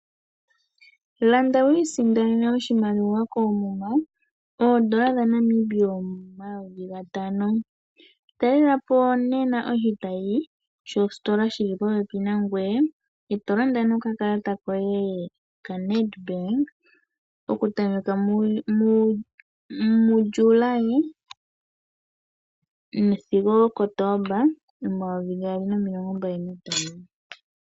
Landa wiisindanene oshimaliwa koomuma oondola dhaNamibia omayovi gatano. Talela po nena oshitayi shositola shili popepi nangweye e to landa nokakalata koye kaNedBank okutameka muJuli sigo oKotomba 2025.